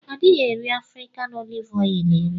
Adighi eri afrikan olive eri.